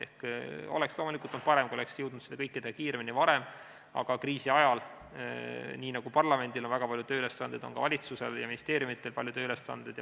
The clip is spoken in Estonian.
Oleks loomulikult olnud parem, kui oleks jõudnud seda kõike teha kiiremini ja varem, aga nii nagu kriisi ajal on parlamendil väga palju tööülesandeid, on ka valitsusel ja ministeeriumidel palju tööülesandeid.